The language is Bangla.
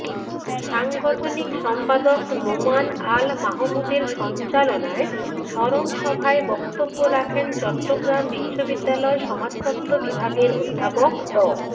সাংগঠনিক সম্পাদক নোমান আল মাহমুদের সঞ্চালনায় স্মরনসভায় বক্তব্য রাখেন চট্টগ্রাম বিশ্ববিদ্যালয় সমাজতত্ত্ব বিভাগের অধ্যাপক ড